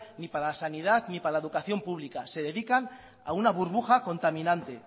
ni para la sanidad ni para la educación pública se dedican a una burbuja contaminante